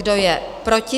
Kdo je proti?